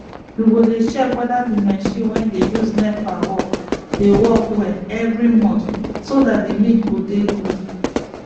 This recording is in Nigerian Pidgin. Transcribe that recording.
u go dey check weda d marchin wey dey use nepa work dey work well every month so dat d milk go dey good